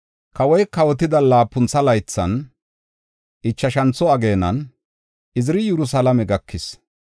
Kawoy kawotida laapuntha laythan ichashantho ageenan Iziri Yerusalaame gakis.